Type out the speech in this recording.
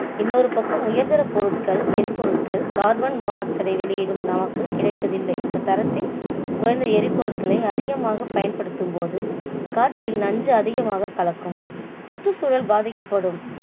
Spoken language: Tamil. இன்னொரு பக்கம் உயர்தரப் பொருட்கள் எரிபொருட்கள் carbon monoxide ஐ வெளியிடும் நமக்கு கிடைப்பதில்லை. தரத்தில் குறைந்த எரிபொருட்களை அதிகமாக பயன்படுத்தும்போது காற்றில் நஞ்சு அதிகமாக கலக்கும் சுற்றுச்சூழல் பாதிக்கப்படும்